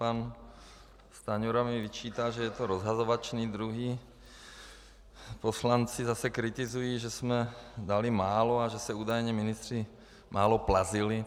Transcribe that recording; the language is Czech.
Pan Stanjura mi vyčítá, že je to rozhazovačný, jiní poslanci zase kritizují, že jsme dali málo a že se údajně ministři málo plazili.